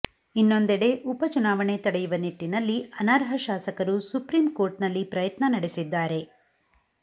ಇನ್ನೊಂದೆಡೆ ಉಪ ಚುನಾವಣೆ ತಡೆಯುವ ನಿಟ್ಟಿನಲ್ಲಿ ಅನರ್ಹ ಶಾಸಕರು ಸುಪ್ರೀಂ ಕೋರ್ಟ್ನಲ್ಲಿ ಪ್ರಯತ್ನ ನಡೆಸಿದ್ದಾರೆ